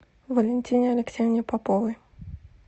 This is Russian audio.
валентине алексеевне поповой